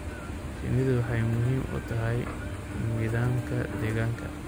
Shinnidu waxay muhiim u tahay nidaamka deegaanka.